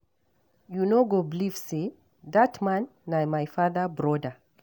You know go believe say dat man na my father broda